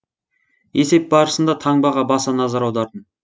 есеп барысында таңбаға баса назар аудардым